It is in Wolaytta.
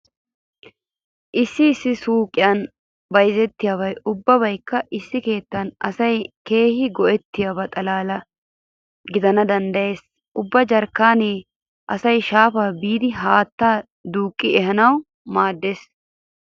Issi issi suuqiyan bayzettiyabi ubbabaykka issi keettan asay keehi go'ettiyoba xalaala. gidana danddayees. Ubba jarkkaanee asay shaafaa biidi haattaa duuqqi ehanawu maaddees.